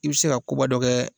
I bɛ se ka koba dɔ kɛ.